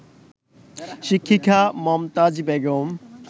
শিক্ষিকা মমতাজ বেগম